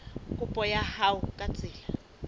kopo ya hao ka tsela